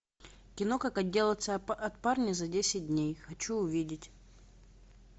кино как отделаться от парня за десять дней хочу увидеть